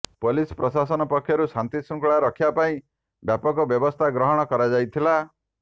police ପ୍ରଶାସନ ପକ୍ଷରୁ ଶାନ୍ତିଶୃଙ୍ଖଳା ରକ୍ଷା ପାଇଁ ବ୍ୟାପକ ବ୍ୟବସ୍ତା ଗ୍ରହଣ କରାଯାଇଥିଲା